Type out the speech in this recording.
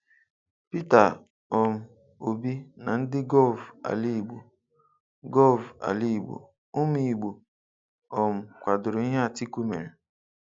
Peter um Obi na ndị gọv Alaịgbo: gọv Alaịgbo: Ụmụ Igbo um kwadoro ihe Atiku mere